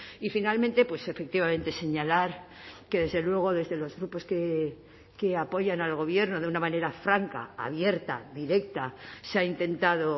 y finalmente pues efectivamente señalar que desde luego desde los grupos que apoyan al gobierno de una manera franca abierta directa se ha intentado